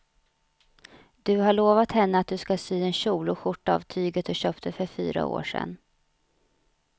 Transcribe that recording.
Du har lovat henne att du ska sy en kjol och skjorta av tyget du köpte för fyra år sedan.